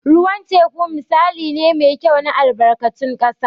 Ruwan teku misali ne mai kyau na albarkatun ƙasa.